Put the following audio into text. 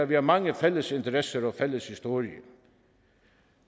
vi har mange fælles interesser og fælles historie